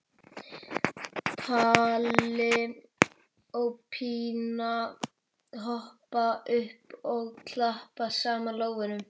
Palli og Pína hoppa upp og klappa saman lófunum.